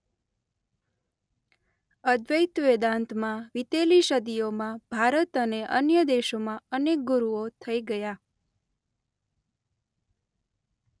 અદ્વૈત વેદાંતમાં વિતેલી સદીઓમાં ભારત અને અન્ય દેશોમાં અનેક ગુરુઓ થઈ ગયા.